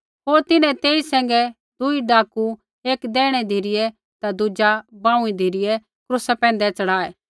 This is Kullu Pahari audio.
होर तिन्हैं तेई सैंघै दुई डाकू एक दैहिणै धिरै ता दुज़ा बांऊँई धिरै क्रूसा पैंधै च़ढ़ाये